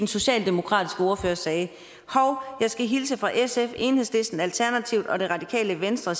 socialdemokratiske ordfører sagde hov jeg skal hilse fra sf enhedslisten alternativet og det radikale venstre